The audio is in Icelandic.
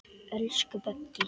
Elsku Böggi.